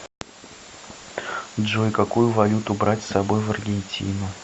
джой какую валюту брать с собой в аргентину